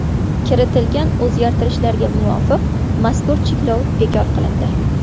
Kiritilgan o‘zgartirishlarga muvofiq mazkur cheklov bekor qilindi.